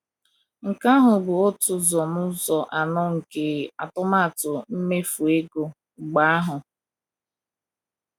Nke ahụ bụ otu ụzọ n’ụzọ anọ nke atụmatụ mmefu ego mba ahụ!